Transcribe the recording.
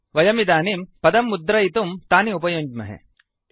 वयमिदानीं पदं मुद्रयितुं तानि उपयुञ्ज्महे